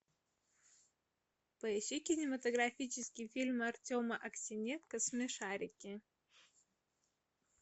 поищи кинематографический фильм артема аксененко смешарики